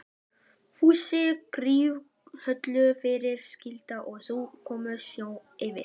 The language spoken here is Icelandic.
Fúsi gróf holu fyrir skálina og þau mokuðu snjó yfir.